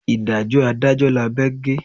Ìdájọ́ adájọ́ lábẹ́ gé.